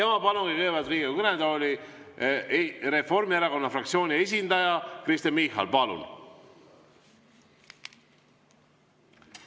Ma palun nüüd Riigikogu kõnetooli Reformierakonna fraktsiooni esindaja Kristen Michali.